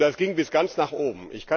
Und das ging bis ganz nach oben.